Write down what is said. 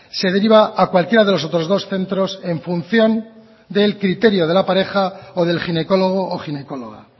se deriva a cualquiera de los otros dos centros en función del criterio de la pareja o del ginecólogo o ginecóloga